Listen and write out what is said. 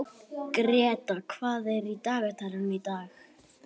Greta, hvað er í dagatalinu í dag?